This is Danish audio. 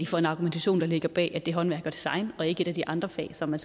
for en argumentation der ligger bag at det er håndværk og design og ikke et af de andre fag som man